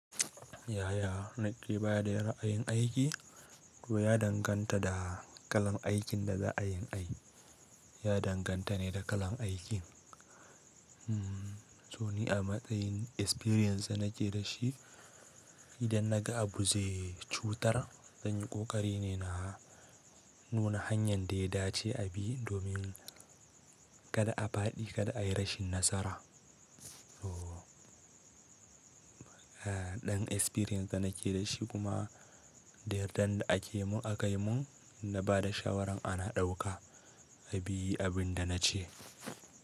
Yaya nake baya da yara ayin aiki to ya danganta da kalan aikin da za a yin aiki. Ya danganta ne da kalan aikin. To ni a matsayin experience da nake da shi, idan na ga abu zai cutar zan yi ƙoƙari ne na nuna hanyar da ya dace a bi domin kada a fadi, kada a yi rashin nasara. So ɗan experience da nake da shi kuma da yardan da ake mun aka yi mun na ba da shawaran ana ɗauka a bi abin da na ce.